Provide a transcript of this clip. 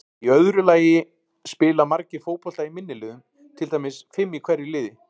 Í öðru lagi spila margir fótbolta í minni liðum, til dæmis fimm í hverju liði.